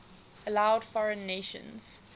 allowed foreign nations